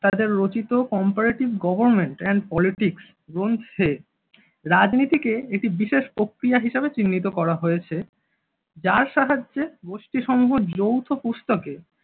তাঁদের comparative government and politics গ্রন্থে রাজনীতি কে একটি বিশেষ প্রক্রিয়া হিসেবে চিহ্নিত করা হয়েছে। যার সাহায্যে গোষ্ঠীসমূহ যৌথ পুস্তকে